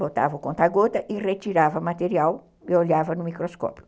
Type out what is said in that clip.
Botava o conta-gota e retirava o material e olhava no microscópio.